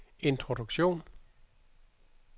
introduktion